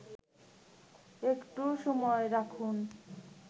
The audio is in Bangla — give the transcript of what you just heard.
একটু সময় রাখুন